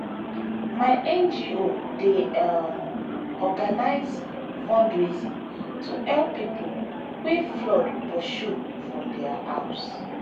my ngo dey um organise fundraising to help pipo wey flood pursue for their house.